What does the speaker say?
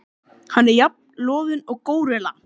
Hann er jafn loðinn og górilla.